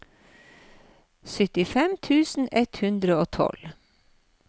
syttifem tusen ett hundre og tolv